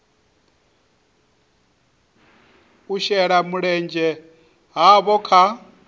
u shela mulenzhe havho kha